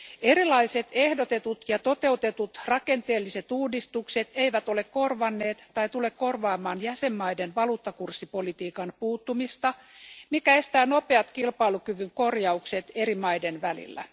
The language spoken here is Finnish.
Erilaiset ehdotetut ja toteutetut rakenteelliset uudistukset eivät ole korvanneet tai tule korvaamaan jäsenmaiden valuuttakurssipolitiikan puuttumista, mikä estää nopeat kilpailukyvyn korjaukset eri maiden välillä.